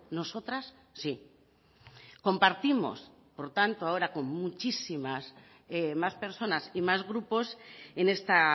nosotras sí compartimos por tanto ahora con muchísimas más personas y más grupos en esta